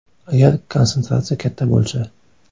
Agar konsentratsiya katta bo‘lsa.